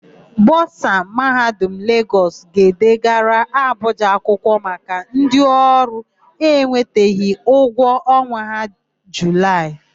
Bọsa Mahadum Legọs. ga-edegara Abụja akwụkwọ maka ndịọrụ enwetabeghị ụgwọ ọnwa Julaị ha.